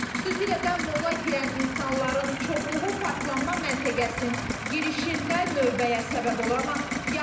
Xüsusilə də molla girən insanların çoxluğu parklanma məntəqəsinin girişində növbəyə səbəb olur.